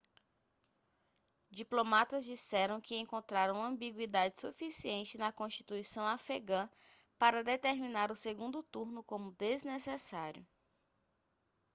diplomatas disseram que encontraram ambiguidade suficiente na constituição afegã para determinar o segundo turno como desnecessário